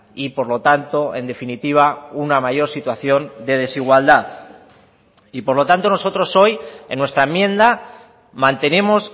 y por lo tanto en definitiva una mayor situación de desigualdad y por lo tanto nosotros hoy en nuestra enmienda mantenemos